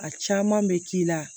A caman bɛ k'i la